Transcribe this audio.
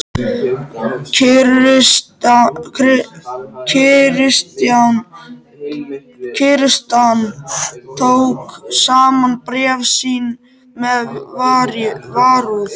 Christian tók saman bréf sín með varúð.